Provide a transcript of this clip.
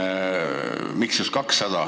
Miks just 200?